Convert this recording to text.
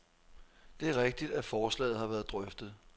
Det er rigtigt, at forslaget har været drøftet.